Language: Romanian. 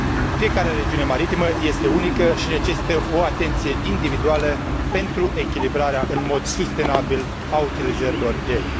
Fiecare regiune maritimă este unică și necesită o atenție individuală pentru echilibrarea în mod sustenabil a utilizărilor ei.